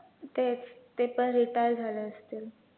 तेच ते पण retire झाले असतील.